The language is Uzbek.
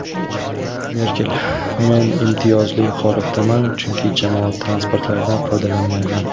Merkel: Men imtiyozli holatdaman, chunki jamoat transportlaridan foydalanmayman.